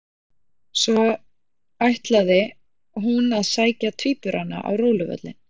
Svo ætlaði, hún að sækja tvíburana á róluvöllinn.